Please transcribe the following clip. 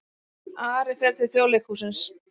Ari fer til Þjóðleikhússins